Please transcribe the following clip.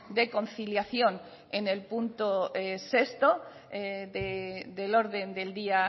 de conciliación en el punto sexto del orden del día